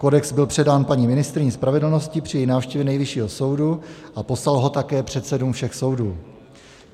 Kodex byl předán paní ministryni spravedlnosti při její návštěvě Nejvyššího soudu a poslal ho také předsedům všech soudů.